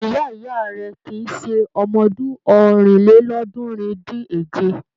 Ìyá-ìyá rẹ̀ kì í ṣe ọmọdún ọ̀rìnlélọ́ọ̀ọ́dúnrún-dín-èje.